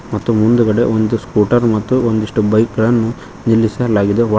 ಮತ್ತು ಮುಂದ್ಗಡೆ ಒಂದು ಸ್ಕೂಟರ್ ಮತ್ತು ಒಂದಿಷ್ಟು ಬೈಕ್ ಗಳನ್ನು ನಿಲ್ಲಿಸಲಾಗಿದೆ ಒಳ್--